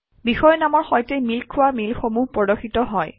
বিষয়ৰ নামৰ সৈতে মিল খোৱা মেইলসমূহ প্ৰদৰ্শিত হয়